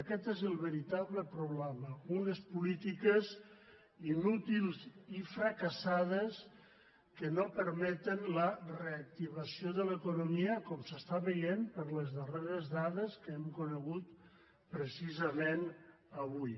aquest és el veritable problema unes polítiques inútils i fracassa·des que no permeten la reactivació de l’economia com s’està veient per les darreres dades que hem conegut precisament avui